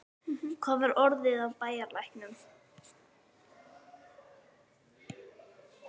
Hvað var orðið af bæjarlæknum?